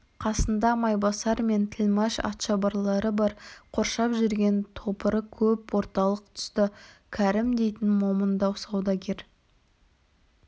қасында майбасар мен тілмәш атшабарлары бар қоршап жүрген топыры көп орталық тұста кәрім дейтін момындау саудагер